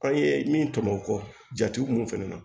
An ye min tɔmɔ o kɔ jate mun fɛnɛ na